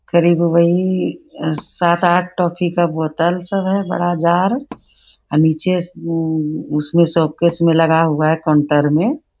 करीब वही सात आठ टॉफी का बोतल सब है बडा जार और नीचे उ शोकेस में लगा हुआ है काउंटर में |